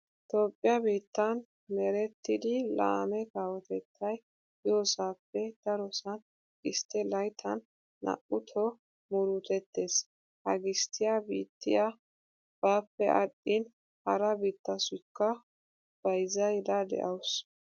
Toophphiya biittan merettidi laame kawotettay yoosappe darosan gisttee layttan 2tto murutettees. Ha gisttiya biittiya baappe aadhdhin hara biittatussikka bayzzaydda de'awusu.